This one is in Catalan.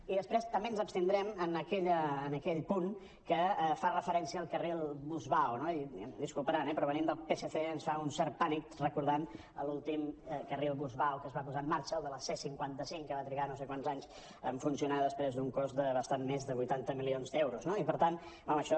i després també ens abstindrem en aquell punt que fa referència al carril bus·vao no i em disculparan eh però venint del psc ens fa un cert pànic recordant l’últim carril bus·vao que es va posar en marxa el de la c·cinquanta cinc que va trigar no sé quants anys en funcionar després d’un cost de bastant més de vuitanta milions d’euros no i per tant home això